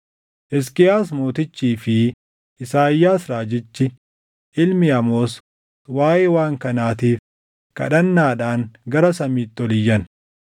Hisqiyaas Mootichii fi Isaayyaas raajichi ilmi Amoos waaʼee waan kanaatiif kadhannaadhaan gara samiitti ol iyyan.